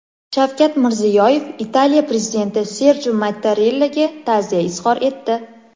Shavkat Mirziyoyev Italiya prezidenti Serjo Mattarellaga ta’ziya izhor etdi.